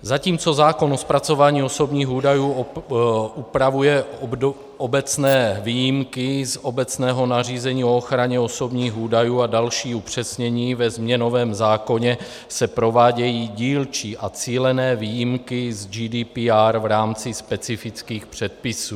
Zatímco zákon o zpracování osobních údajů upravuje obecné výjimky z obecného nařízení o ochraně osobních údajů a další upřesnění, ve změnovém zákoně se provádějí dílčí a cílené výjimky z GDPR v rámci specifických předpisů.